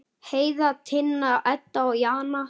Heiða, Tinna, Edda og Jana.